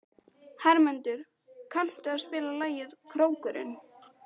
Hermundur, kanntu að spila lagið „Krókurinn“?